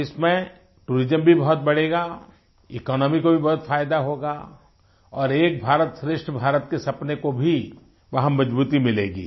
east में tourism भी बहुत बढ़ेगा इकोनॉमी को भी बहुत फायदा होगा और एक भारतश्रेष्ठ भारत के सपने को भी वहाँ मजबूती मिलेगी